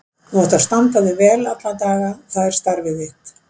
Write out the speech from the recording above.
Þú átt að standa þig vel alla daga, það er starfið þitt.